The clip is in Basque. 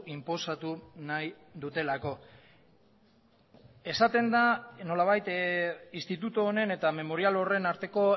inposatu nahi dutelako esaten da nolabait instituto honen eta memorial horren arteko